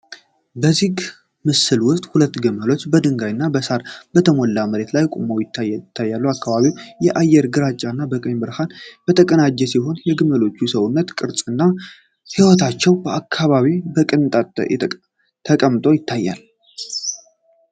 በዚህ ምስል ውስጥ ሁለት ግመሎች በድንጋይ እና በሣር የተሞላ መሬት ላይ ቆመው ታይተዋል። የአካባቢው አየር ግራጫ እና በቀን ብርሃን የተቀናጀ ሲሆን፣ የግመሎቹ የሰውነት ቅርጽ እና የህይወታቸው አካባቢ በቅንጣት ተቀምጦ ታይቷል።